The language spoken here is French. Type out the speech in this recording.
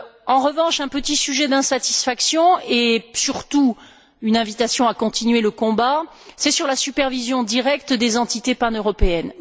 En revanche, mentionnons un petit sujet d'insatisfaction et surtout une invitation à continuer le combat, qui porte sur la supervision directe des entités paneuropéennes.